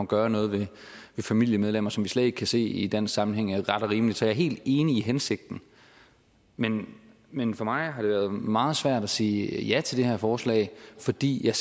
gøre noget ved familiemedlemmer som vi slet ikke kan se i dansk sammenhæng er ret og rimeligt så jeg er helt enig i hensigten men men for mig har det været meget svært at sige ja til det her forslag fordi jeg